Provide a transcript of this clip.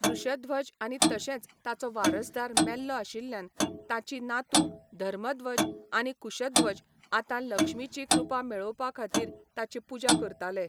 वृषध्वज आनी तशेंच ताचो वारसदार मेल्लो आशिल्ल्यान ताचीं नातू धर्मध्वज आनी कुशध्वज आतां लक्ष्मीची कृपा मेळोवपा खातीर ताची पुजा करताले.